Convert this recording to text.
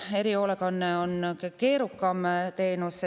Erihoolekanne on ka keerukam teenus.